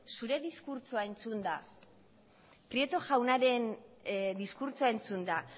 zure diskurtsoa entzunda prieto jaunaren diskurtsoa entzunda